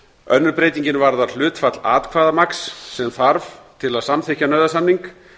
önnur breytingin varðar hlutfall atkvæðamagns sem þarf til að samþykkja nauðasamning